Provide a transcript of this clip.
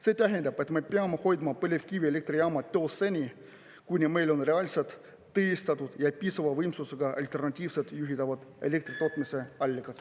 See tähendab, et me peame hoidma põlevkivielektrijaamad töös seni, kuni meil on reaalsed ja piisava võimsusega alternatiivsed juhitava elektri tootmise allikad.